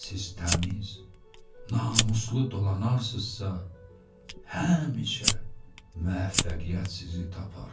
Siz təmiz, namuslu dolanarsızsa həmişə müvəffəqiyyət sizi tapar.